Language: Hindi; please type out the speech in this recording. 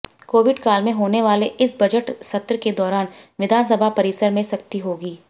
कोविड काल में होने वाले इस बजट सत्र के दौरान विधानसभा परिसर में सख्ती होगी